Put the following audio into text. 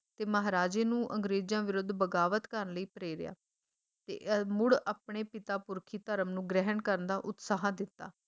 ਤੇ ਮਹਾਰਾਜੇ ਨੂੰ ਅੰਗਰੇਜਾਂ ਵਿਰੁੱਧ ਬਗਾਵਤ ਕਰਨ ਲਈ ਪ੍ਰੇਰਿਆ ਤੇ ਮੁੜ ਆਪਣੇ ਪਿਤਾ ਪੁਰਖੀ ਧਰਮ ਨੂੰ ਗ੍ਰਹਿਣ ਕਰਨ ਦਾ ਉਤਸਾਹ ਦਿੱਤਾ